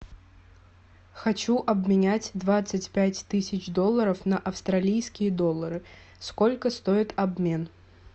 хочу обменять двадцать пять тысяч долларов на австралийские доллары сколько стоит обмен